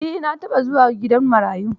Eh, na taɓa zuwa gidan marayu.